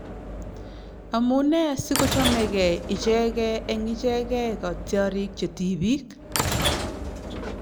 Amunee si kochomegee ichegee eng ichegee kotiorik che tibiik ?